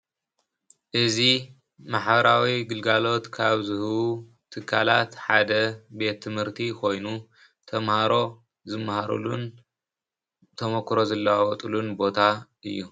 እዚ ማሕበራዊ ግልጋሎት ካብ ዝህቡ ትካላት ሓደ ቤት-ትምህርቲ ኮይኑ ተማሃሮ ዝመሃሩሉን ተሞክሮ ዝለዋወጡሉን ቦታ እዩ።